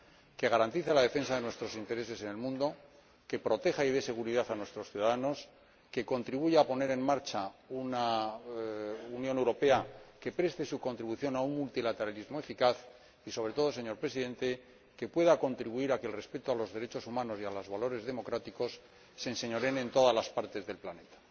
que garantice la defensa de nuestros intereses en el mundo, que proteja y dé seguridad a nuestros ciudadanos, que contribuya a poner en marcha una Unión Europea que preste su contribución a un multilateralismo eficaz y, sobre todo, señor Presidente, que pueda contribuir a que el respeto a los derechos humanos y los valores democráticos se enseñoreen de todas las partes del planeta.